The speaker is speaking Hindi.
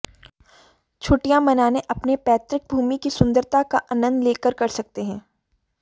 छुट्टियां मनाने अपने पैतृक भूमि की सुंदरता का आनंद लें कर सकते हैं